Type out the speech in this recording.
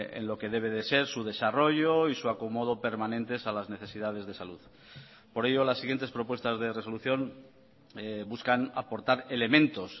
en lo que debe de ser su desarrollo y su acomodo permanentes a las necesidades de salud por ello las siguientes propuestas de resolución buscan aportar elementos